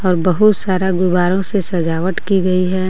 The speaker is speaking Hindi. और बहुत सारा गुब्बारो से सजावट की गई हे.